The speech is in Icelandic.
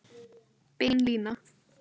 Bein lína